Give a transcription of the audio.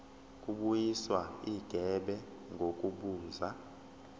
kubuyiswa igebe ngokubuza